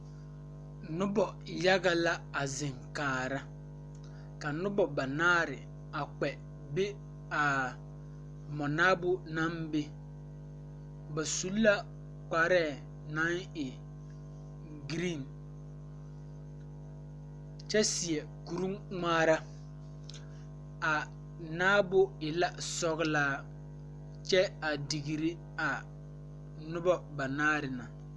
Nobɔ yaga la a zeŋ kaara ka nobɔ banaare a kpɛ be aa mɔnaabo naŋ be ba su la kparɛɛ naŋ e green kyɛ seɛ kuringmaara a naabo e la sɔglaa kyɛ a digre a nobɔ banaare na.